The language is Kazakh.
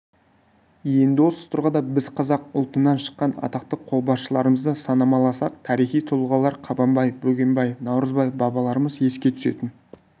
енді осы тұрғыда біз қазақ ұлтынан шыққан атақты қолбасшыларымызды санамаласақ тарихи тұлғалар қабанбай бөгенбай наурызбай бабаларымыз еске түсетін